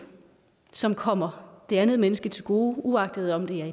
som kommer det andet menneske til gode uanset om det er